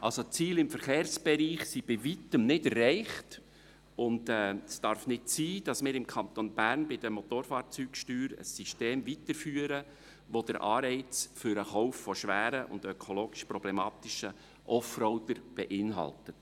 Also: Die Ziele im Verkehrsbereich sind bei Weitem nicht erreicht, und es darf nicht sein, dass wir im Kanton Bern bei den Motorfahrzeugsteuern ein System weiterführen, das den Anreiz für den Kauf von schweren und ökologisch problematischen Offroadern beinhaltet.